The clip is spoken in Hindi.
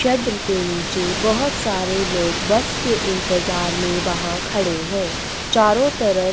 के नीचे बहुत सारे लोग बस के इंतजार में वहाँ खड़े है चारो तरफ --